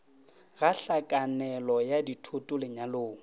ga hlakanelo ya thoto lenyalo